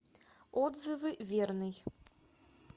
отзывы верный